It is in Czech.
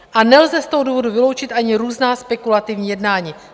A nelze z toho důvodu vyloučit ani různá spekulativní jednání."